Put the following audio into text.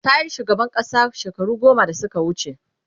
tayi shugaban ƙasa shekaru goma da Suka wuce